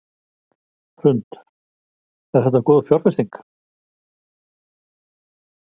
Hrund: Er þetta góð fjárfesting?